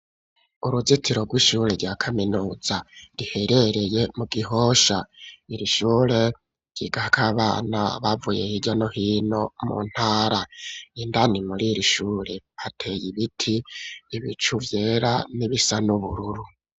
Uruzitiro ry'ishure rya kaminuza riherereye mu Gihosha. Iri shure ryigako abana bavuye hirya no hino mu ntara. Indani mur'iri shure hateye ibiti, ibicu vyera n'ibisa n'ubururu.